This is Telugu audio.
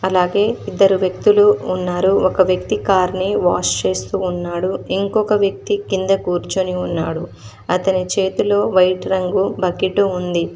అలాగే ఇద్దరు వ్యక్తులు ఉన్నారు ఒక వ్యక్తి కార్ ని వాష్ చేస్తూ ఉన్నాడు ఇంకొక వ్యక్తి కింద కూర్చొని ఉన్నాడు అతని చేతిలో వైట్ రంగు బకెట్ ఉంది.